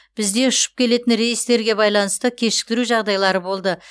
бізде ұшып келетін рейстерге байланысты кешіктіру жағдайлары болды